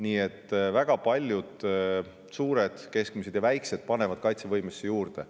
Nii et väga paljud suured, keskmised ja väikesed panevad kaitsevõimesse juurde.